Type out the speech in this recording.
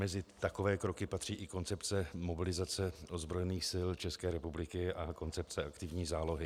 Mezi takové kroky patří i koncepce mobilizace ozbrojených sil České republiky a koncepce aktivní zálohy.